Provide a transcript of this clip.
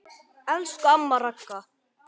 Elsku amma Ragga.